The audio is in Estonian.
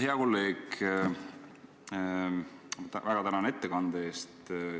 Hea kolleeg, ma väga tänan ettekande eest!